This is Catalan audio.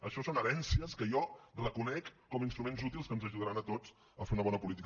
això són herències que jo reconec com a instruments útils que ens ajudaran a tots a fer una bona política